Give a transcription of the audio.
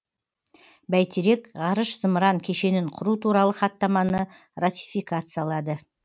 бәйтерек ғарыш зымыран кешенін құру туралы хаттаманы ратификациялады